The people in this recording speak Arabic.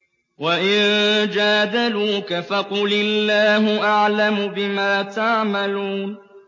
وَإِن جَادَلُوكَ فَقُلِ اللَّهُ أَعْلَمُ بِمَا تَعْمَلُونَ